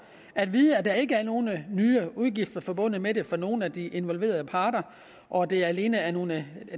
at vide at der ikke er nogen nye udgifter forbundet med det for nogen af de involverede parter og at det alene er nogle